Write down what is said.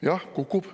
Jah, kukub.